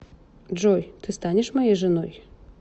джой ты станешь моей женой